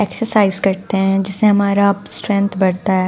Exercise करते हैं जिससे हमारा स्ट्रेंथ बढ़ता है।